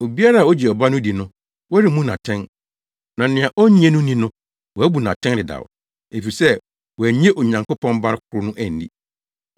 Obiara a ogye ɔba no di no, wɔremmu no atɛn; na nea onnye no nni no, wɔabu no atɛn dedaw, efisɛ wannye Onyankopɔn Ba koro no anni.